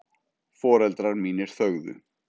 Foreldrar mínir þögðu.